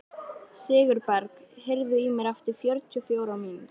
Sigurberg, heyrðu í mér eftir fjörutíu og fjórar mínútur.